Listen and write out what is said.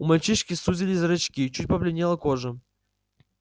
у мальчишки сузились зрачки чуть побледнела кожа